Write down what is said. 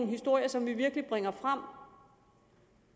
historie som vi virkelig bringer frem